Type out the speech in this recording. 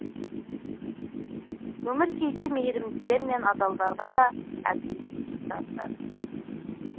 өмір кейде мейірімділер мен адалдарға да әділетсіздік танытады